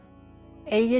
Egill